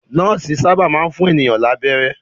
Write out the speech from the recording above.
Nọ́ọ́sì sábà máa ń fún ènìyàn lábẹ́rẹ́.